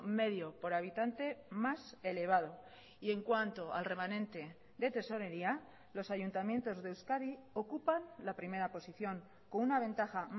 medio por habitante más elevado y en cuanto al remanente de tesorería los ayuntamientos de euskadi ocupan la primera posición con una ventaja